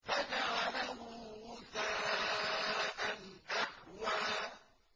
فَجَعَلَهُ غُثَاءً أَحْوَىٰ